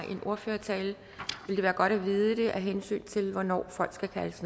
en ordførertale vil det være godt at vide det af hensyn til hvornår folk skal kaldes